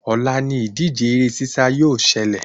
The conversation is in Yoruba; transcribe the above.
Òla ni ìdíje eré sísá yóò selè